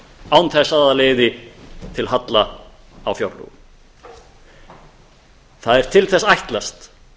án þess að það leiði til halla á fjárlögum það er til þess ætlast